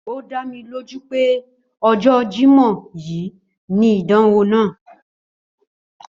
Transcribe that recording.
Ó dá mi lójú pé ojó Jímó yìí ni ìdánwò náà